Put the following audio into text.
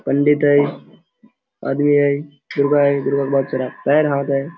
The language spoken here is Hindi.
पंडित है और ये दुर्गा है दुर्गा के बहोत सारा पैर हाथ है ।